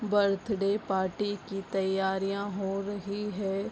Birthday party की तैयारियां हो रही है।